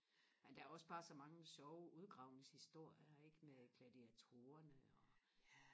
men der er også bare så mange sjove udgravningshistorier ikke med gladiatorerne og